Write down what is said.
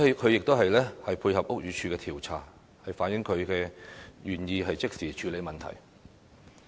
她亦已經配合屋宇署調查，反映她是願意即時處理問題。